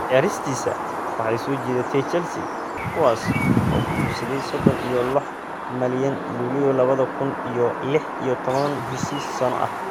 Ciyaaristiisa waxay soo jiidatay Chelsea, kuwaas oo ku iibsaday sodon iyo lox malyan luuliyo lawadha kun iyo lix iyo tawan heshiis shan sano ah.